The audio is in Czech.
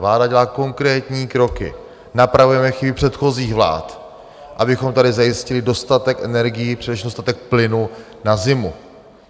Vláda dělá konkrétní kroky, napravujeme chyby předchozích vlád, abychom tady zajistili dostatek energií, především dostatek plynu na zimu.